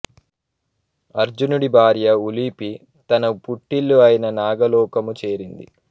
అర్జునుడి భార్య ఉలూపి తన పుట్టిల్లు అయిన నాగలోకము చేరింది